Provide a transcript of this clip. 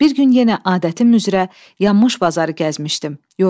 Bir gün yenə adətim üzrə yanmış bazarı gəzmişdim.